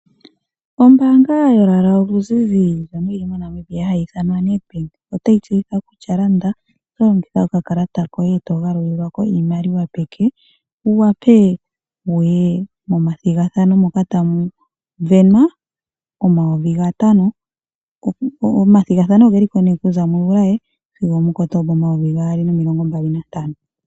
Ombaanga yolwaala oluzizi hayi ithwanwa Nedbank otayi tseyitha kutya landa tolongitha okakalata koye eto galulilwa iimaliwa yopeke wuwape wuye momathigathano moka tamu venwa omayovi gatano, omathigathabo ogeliko nee kuza mu juli sigo omuKotoba omayovi gaali nomilonho mbali nantano.